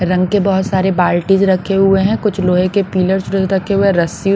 रंग के बहुत सारे बाल्टीज रखे हुए हैं कुछ लोहे के पिलर्स रखे हुए हैं रस्सी।